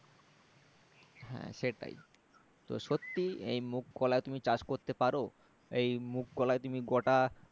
হ্যাঁ সেটাই তো সত্যি এই মুগ কলাই তুমি চাষ করতে পারো এই মুগ কলাই তুমি গোটা